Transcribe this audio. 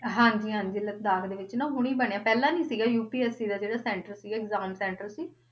ਹਾਂਜੀ ਹਾਂਜੀ ਲਦਾਖ ਦੇ ਵਿੱਚ ਨਾ ਹੁਣੀ ਬਣਿਆ, ਪਹਿਲਾਂ ਨੀ ਸੀਗਾ UPSC ਦਾ ਜਿਹੜਾ center ਸੀਗਾ exam center ਸੀ,